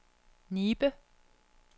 Nibe